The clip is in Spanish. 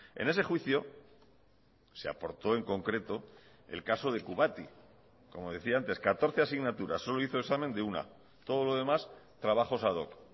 en ese juicio se aporto en concreto el caso de kubati como decía antes catorce asignaturas solo hizo examen de una todo lo demás trabajos ad hoc